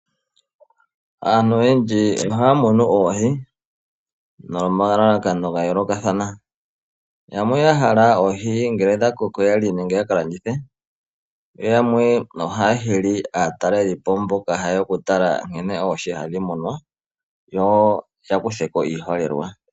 Aantu oyendji ohaa munu oohi nomalalako ga yoolokathana yamwe oya hala oohi ngele dha koko ya lye nenge ya ka landithe yo yamwe ohaa hili aatalelipo mboka ya hala oku tala nkene oohi hadhi munwa yo woo ya kuthe ko iiholelwa.